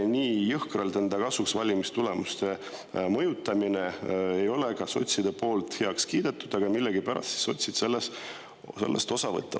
Nii jõhkralt enda kasuks valimistulemuste mõjutamine ei ole nagu ka sotside poolt heaks kiidetud, aga millegipärast sotsid võtavad sellest osa.